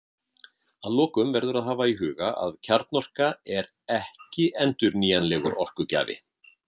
Að lokum verður að hafa í huga að kjarnorka er ekki endurnýjanlegur orkugjafi.